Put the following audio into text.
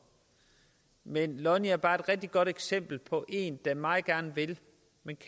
men lonni er bare et rigtig godt eksempel på en der meget gerne vil